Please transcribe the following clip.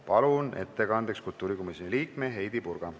Palun ettekandeks kultuurikomisjoni liikme Heidy Purga.